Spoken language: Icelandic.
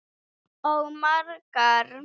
Bóndi er með í tafli.